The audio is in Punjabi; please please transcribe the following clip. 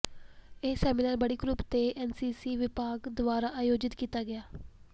ਇਹ ਸੈਮੀਨਾਰ ਬਡੀ ਗਰੁੱਪ ਤੇ ਐੱਨਸੀਸੀ ਵਿਭਾਗ ਦੁਆਰਾ ਆਯੋਜਿਤ ਕੀਤਾ ਗਿਆ